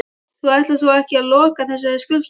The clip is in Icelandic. Þú ætlar þó ekki að loka þessari skrifstofu?